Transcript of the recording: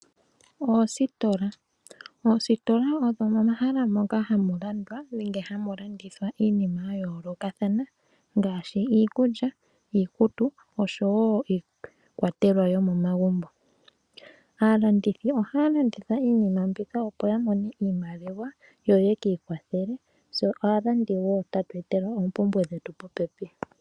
Oositola odho omahala moka hamu landwa nenge hamu landithwa iinima ya yoolokathana ngaashi iikulya, iikutu, oshowo iikwatelwa yo momagumbo. Aalandithi ohaya landitha iinima mbika opo ya mone iimaliwa yo yaka ikwathele, tse aalandi wo tatu etelwa oompumbwe dhetu popepi.